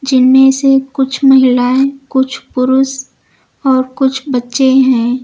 जिनमें से कुछ महिलाए कुछ पुरुष और कुछ बच्चे हैं।